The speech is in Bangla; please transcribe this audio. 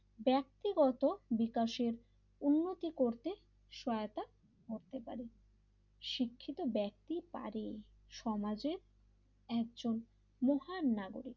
ব্যক্তিগত বিকাশের উন্নতি করতে সহায়তা করতে পারে শিক্ষিত ব্যক্তি পারে সমাজের একজন মহান নাগরিক,